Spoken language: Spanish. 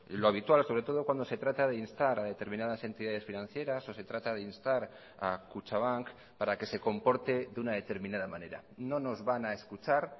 lo habitual sobre todo cuando se trata de instar a determinadas entidades financieras o se trata de instar a kutxabank para que se comporte de una determinada manera no nos van a escuchar